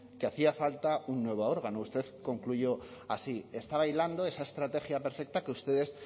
que hacía falta un nuevo órgano usted concluyó así está bailando esa estrategia perfecta que ustedes